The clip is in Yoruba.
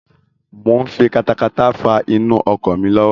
Mo n fi katakata faa inú oko mi lọ́wọ́